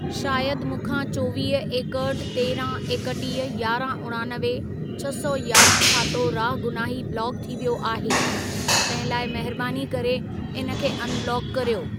शायद मूंखां चोवीह, एकहठि, तेरहं, एकटीह, यारहं उणानवे, छह सौ यारहं खातो रागुनाही ब्लॉक थी वियो आहे. तहिं लाइ महिरबानी करे इन खे अनब्लॉक कर्यो।